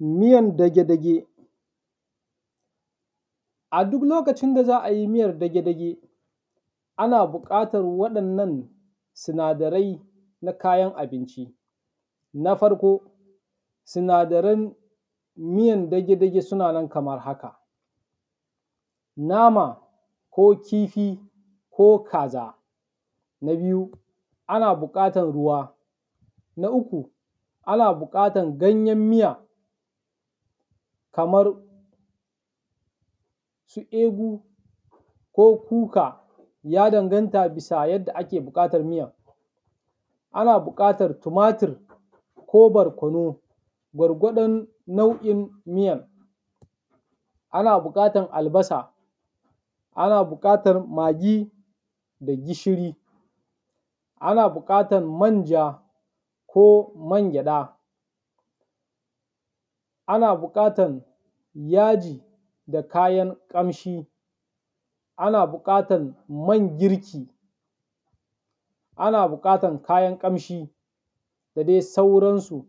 Miyan dage-dage. A duk lokacin da za a yi miyan dage-dage ana buƙatar waɗannan sinadarai na kayana abinci. Na farko, sinadaran miyan dage-dage suna nan kamar haka; nama ko kifi ko kaza. Na biyu, ana buƙatar ruwa, na uku ana buƙatar ganyen miya kamar su egu ko kuka, ya danganta bisa da yadda ake buƙatar miyan. Miyan dage-dage. A duk lokacin da za a yi miyan dage-dage ana buƙatar waɗannan sinadarai na kayana abinci. Na farko, sinadaran miyan dage-dage suna nan kamar haka; nama ko kifi ko kaza. Na biyu, ana buƙatar ruwa, na uku ana buƙatar ganyen miya kamar su egu ko kuka, ya danganta bisa da yadda ake buƙatar miyan. Ana buƙatar tumatur ko barkonu, gwargwadon nau’in miyan, ana buƙatar albasa, ana buƙatar magi da gishiri, ana buƙatar manja ko mangyaɗa, ana buƙatan yaji da kayan ƙamshi, ana buƙatan man girki, ana buƙatan kayan ƙamshi da dai sauransu.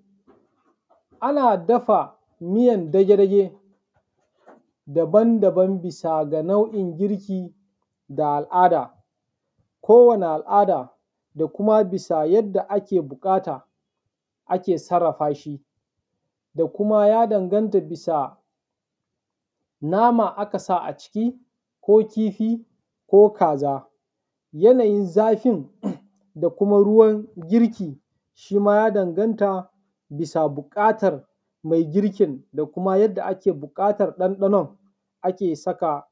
Ana dafa miyan dage-dage daban-daban bisa ga nau’in girki da al’ada, kowane al’ada da kuma bisa yadda ake buƙata ake sarrafa shi da kuma ya danganta bisa nama aka sa a aciki ko kifi ko kaza. Yanayin zafin da kuma ruwan girkin, shima ya danganta bisa buƙatar mai girkin da kuma yadda ake buƙatar ɗanɗanon ake saka.